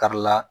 Karila